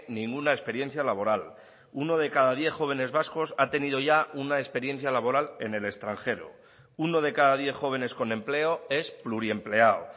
ninguna experiencia laboral uno de cada diez jóvenes vascos ha tenido ya una experiencia laboral en el extranjero uno de cada diez jóvenes con empleo es pluriempleado